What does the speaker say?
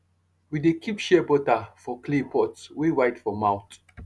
we dey keep shea butter for clay pot wey wide for mouth